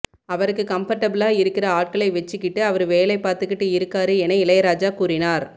அவருக்கு கம்ஃபர்ட்டபிளா இருக்குற ஆட்களை வச்சுக்கிட்டு அவரு வேலை பார்த்துக்கிட்டு இருக்காரு என இளையராஜா கூறினார்